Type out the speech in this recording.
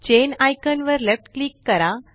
चैन icon वर left click करा